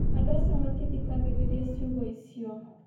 Andũ acio matithikagĩrĩria ciugo icio